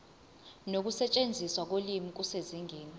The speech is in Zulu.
nokusetshenziswa kolimi kusezingeni